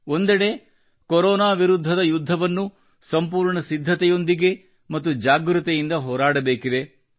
ಒಂದೆಡೆ ಕೊರೊನಾ ವಿರುದ್ಧದ ಯುದ್ಧವನ್ನು ಸಂಪೂರ್ಣ ಸಿದ್ಧತೆಯೊಂದಿಗೆ ಮತ್ತು ಜಾಗೃತೆಯಿಂದ ಹೋರಾಡಬೇಕಿದೆ